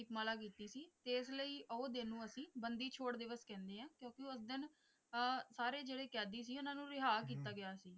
ਦੀਪਮਾਲਾ ਕੀਤੀ ਸੀ ਤੇ ਇਸ ਲਈ ਉਹ ਦਿਨ ਨੂੰ ਅਸੀਂ ਬੰਦੀ ਛੋੜ ਦਿਵਸ ਕਹਿੰਦੇ ਹਾਂ ਕਿਉਂਕਿ ਉਸ ਦਿਨ ਅਹ ਸਾਰੇ ਜਿਹੜੇ ਕੈਦੀ ਸੀ ਉਨ੍ਹਾਂ ਨੂੰ ਰਿਹਾ ਕੀਤਾ ਗਿਆ ਸੀ।